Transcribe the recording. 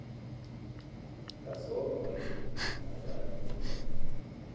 kazonke wayengalali nendaba